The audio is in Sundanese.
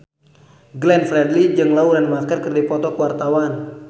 Glenn Fredly jeung Lauren Maher keur dipoto ku wartawan